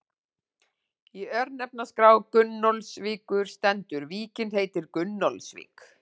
Í örnefnaskrá Gunnólfsvíkur stendur: Víkin heitir Gunnólfsvík.